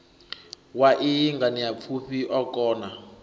wa iyi nganeapfufhi o kona